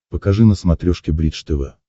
покажи на смотрешке бридж тв